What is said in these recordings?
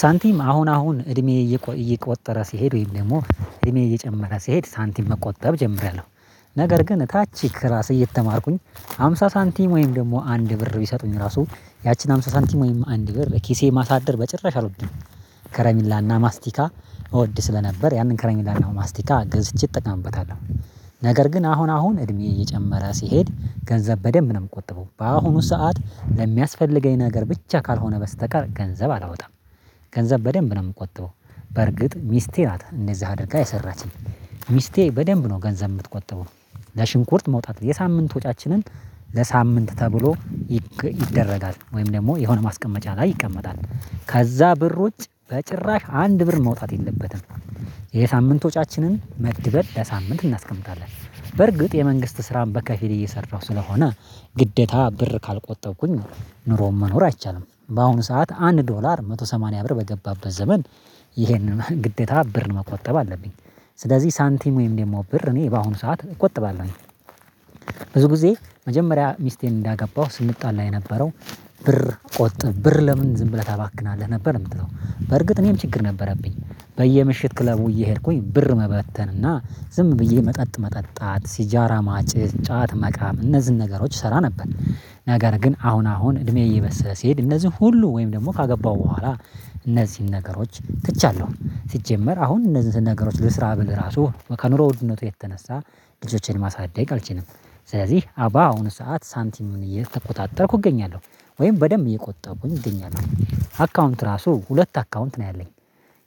ሳንቲም አሁን አሁን እድሜዬ እየቆጠረ ሲሄድ ወይም ደግሞ እድሜዬ እየጨመረ ሲሄድ ሳንቲም መቆጠብ ጀምሪያለሁ ነገር ግን ታች ክላስ እየተማርኩኝ ሃምሳ ሳንቲም ወይም ደግሞ አንድ ብር ቢሰጡኝ ራሱ ያቺን አምስት ሳንቲም ወይም አንድ ብር ኪሴ ማሳደር በጭራሽ አልወድም። ከረሚላና ማስቲካ እወድ ስለነበር ያንን ከረሚላ እና ማስቲካ ገዝቼ እጠቀምበታለሁ ነገር ግን አሁን አሁን እድሜ እየጨመረ ሲሄድ ገንዘብ በደንብ ነው የምቆጠበው በአሁኑ ሰዓት ለሚያስፈልገኝ ነገር ብቻ ካልሆነ በስተቀር ገንዘብ አላወጣም። ገንዘብ በደንብ ነው የምቆጥበው። በርግጥ ሚስቴ ናት እንደዛ አድርጋ የሰራችኝ ሚስቴ በደንብ ነው ገንዘብ የምትቆጥበው። ለሽንኩርት መውጣት የሳምንት ወጪያችንን ለሳምንት ተብሎ ይደረጋል ወይም ደግሞ የሆነ ማስቀመጫ ላይ ይቀመጣል ከዛ ብር ውጭ በጭራሽ አንድ ብር መውጣት የለበትም። ወጪያችንን መድበን ለሳምንት እናስቀምጣለን በርግጥ የመንግስት ስራን በከፊል እየሰራሁ ስለሆነ ግዴታ ብር ካልቆጠብኩኝ ኑሮ መኖር አይቻልም። በአሁኑ ሰዓት አንድ ዶላር አንድ መቶ ሰማኒያ ብር በገባበት ዘመን ይሄንን ግዴታ ብር መቆጠብ አለብኝ። ስለዚህ ሳንቲም ወይም ደግሞ ብር እኔ በአሁኑ ሰዓት እቆጥባለሁኝ። ብዙ ጊዜ መጀመሪያ ሚስቴን እንዳገባሁ ስንጣላ የነበረው ብር ቆጥብ ብር ለምን ዝም ብለህ ታባክናለህ ነበር የምትለው በርግጥ እኔም ችግር ነበረብኝ በየምሽት ክለቡ እየሄድኩኝ ብር መበተንና ዝም ብዬ መጠጥ መጠጣት ሲጃራ ማጨስ ጫት መቃም እነዚህን ነገሮች እሰራ ነበር። ነገር ግን አሁን አሁን እድሜ እየበሰለ ሲሄድ እነዚህን ሁሉ ወይም ደግሞ ካገባው በኋላ እነዚህን ነገሮች ትቻለሁ ሲጀመር አሁን እነዚህን ነገሮች ልስራ ብለው ራሱ ከኑሮ ውድነቱ የተነሳ ልጆችን ማሳደግ አልችልም። ስለዚህ ባአሁኑ ሰዓት ሳንቲም እየተቆጣጠርኩ እገኛለሁ ወይም በደንብ እየቆጠብኩኝ እገኛለሁ አካውንት ራሱ ሁለት አካውንት ነው ያለኝ።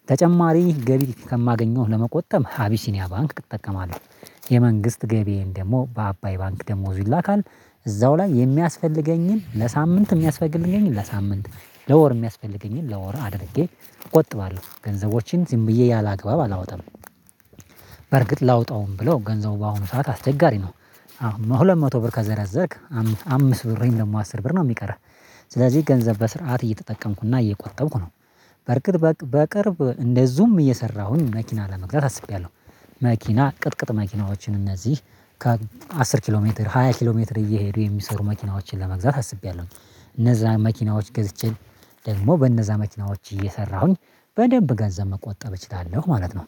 ተጨማሪ ገቢ ከማገኘው ለመቆጠብ አቢሲኒያ ባንክ እጠቀማለሁ። የመንግስት ገቢዬን ደግሞ በአባይ ባንክ ደሞዙ ይላካል። እዛው ላይ የሚያስፈልገኝን ለሳምንት የሚያስፈልገኝን ለሳምንት ለወር የሚያስፈልገኝን ለወር አድርጌ እቆጥባለሁ ገንዘቦችን ዝም ብዬ ያላግባብ አላወጣም። በርግጥ ላውጣውም ብለው ገንዘቡ በአሁኑ ሰዓት አስቸጋሪ ነው። ሁለት መቶ ብር ከዘረዘርክ አምስት ብር አስር ብር ነው የሚቀረው። ስለዚህ ገንዘብ በስርዓት እየተጠቀምኩና እየቆረቀምኩ ነው። በርግጥ በቅርብ እንደዚሁም እየሰራሁኝ መኪና ለመግዛት አስቤያለሁ። መኪና ቅጥቅጥ መኪናዎችን እነዚህ ከአስር ኪሎ ሜትር ሃያ ኪሎ ሜትር እየሄዱ የሚሰሩ መኪናዎችን ለመግዛት አስቢያለሁኝ። እነዛ መኪናዎች ገዝቼ ደግሞ በእነዛ መኪናዎች እየሰራሁኝ በደንብ ገንዘብ መቆጠብ እችላለሁ ማለት ነው